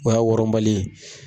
O y'a wɔrɔnbali ye.